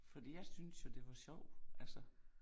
Fordi jeg synes jo det var sjov altså